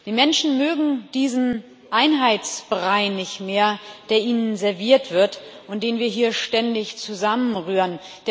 Die Menschen mögen diesen Einheitsbrei nicht mehr, der ihnen serviert wird und den wir hier ständig zusammenrühren.